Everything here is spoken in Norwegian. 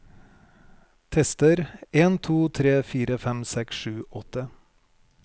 Tester en to tre fire fem seks sju åtte